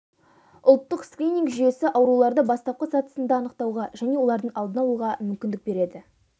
ұлттық скрининг жүйесі ауруларды бастапқы сатысында анықтауға және олардың алдын алуға мүмкіндік береді